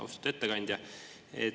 Austatud ettekandja!